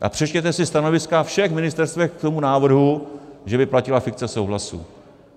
A přečtěte si stanoviska všech ministerstev k tomu návrhu, že by platila fikce souhlasu.